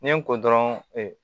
Ni n ko dɔrɔn ee